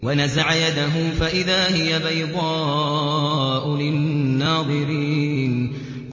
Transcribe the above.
وَنَزَعَ يَدَهُ فَإِذَا هِيَ بَيْضَاءُ لِلنَّاظِرِينَ